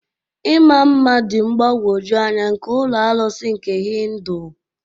Ịma mma dị mgbagwoju anya nke ụlọ arụsị nke Hindu.